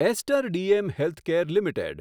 ester DM healthcare limited